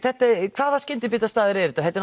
hvaða skyndibitastaðir eru þetta þetta